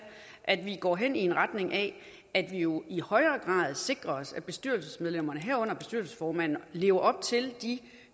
at vi går hen i en retning af at vi jo i højere grad sikrer os at bestyrelsesmedlemmerne herunder bestyrelsesformanden lever op til de